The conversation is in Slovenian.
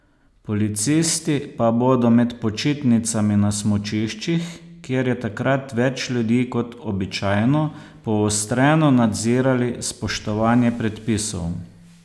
Policisti pa bodo med počitnicami na smučiščih, kjer je takrat več ljudi kot običajno, poostreno nadzirali spoštovanje predpisov.